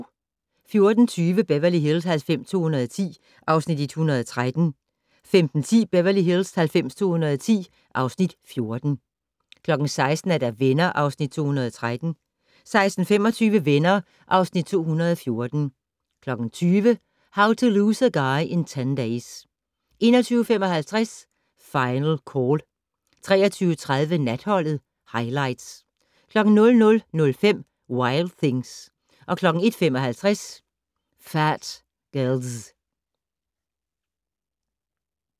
14:20: Beverly Hills 90210 (Afs. 113) 15:10: Beverly Hills 90210 (Afs. 114) 16:00: Venner (Afs. 213) 16:25: Venner (Afs. 214) 20:00: How to Lose a Guy in 10 Days 21:55: Final Call 23:30: Natholdet - Highlights 00:05: Wild Things 01:55: Phat Girlz